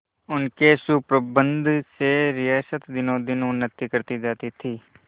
उनके सुप्रबंध से रियासत दिनोंदिन उन्नति करती जाती थी